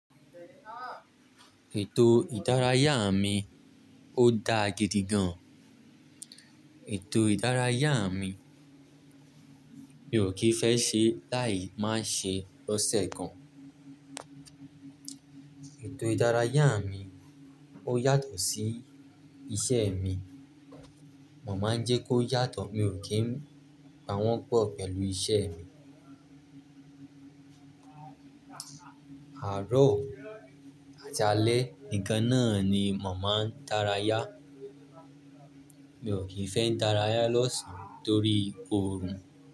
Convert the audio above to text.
Ètò ìdárayá mi ó dáa gidi gan. Ètò ìdárayá mi, mi ò kì í fẹ́ ṣe láì má ṣe lọ́sẹ̀ kan. Ètò ìdárayá mi ó yàtọ̀ sí iṣẹ́ mi, mò má ń jẹ́ kó yàtọ̀, mi ò kí ń pa wọ́n pọ̀ pẹ̀lú iṣẹ́ mi. Àárọ̀ àti alẹ nìkan náà ni mò máa ń dárayá. Mi ò kì í fẹ́ ń dárayá l'ọ̀ṣán torí òòrùn.